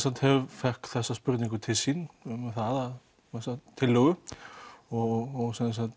fékk þessa spurningu til sín eða þessa tillögu og